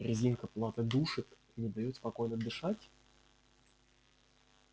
резинка платы душит и не даёт спокойно дышать